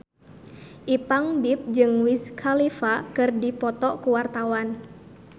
Ipank BIP jeung Wiz Khalifa keur dipoto ku wartawan